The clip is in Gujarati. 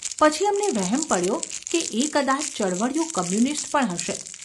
પછી અમને વહેમ પડ્યો કે એ કદાચ ચળવળિયો કોમ્યુનિસ્ટ પણ હશે.